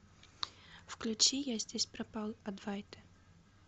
включи я здесь пропал адвайты